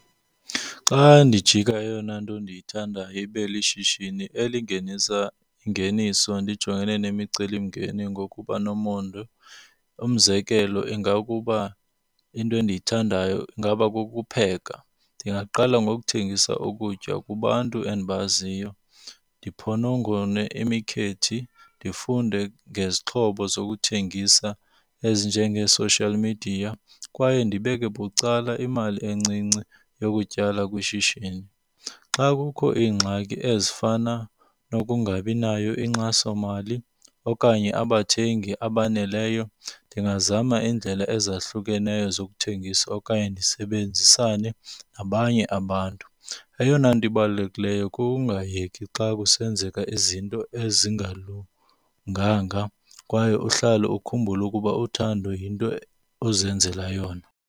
Xa ndijika eyona nto ndiyithanda ibe lishishini elingenisa ingeniso ndijongene nemicelimngeni ngokuba nomonde. Umzekelo ingakuba into endiyithandayo ingaba kukupheka. Ndingaqala ngokuthengisa ukutya kubantu endibaziyo, ndiphonongone imikhethi, ndifunde ngezixhobo zokuthengisa ezinjengee-social media kwaye ndibeke bucala imali encinci yokutyala kwishishini. Xa kukho iingxaki ezifana nokungabinayo inkxasomali okanye abathengi abaneleyo, ndingazama iindlela ezahlukeneyo zokuthengisa okanye ndisebenzisane nabanye abantu. Eyona nto ibalulekileyo kukungayeki xa kusenzeka izinto ezingalunganga kwaye uhlale ukhumbule ukuba uthando yinto ozenzela yona.